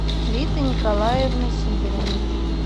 риты николаевны сидориной